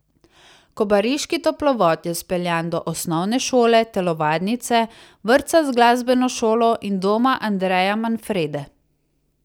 Kobariški toplovod je speljan do osnovne šole, telovadnice, vrtca z glasbeno šolo in Doma Andreja Manfrede.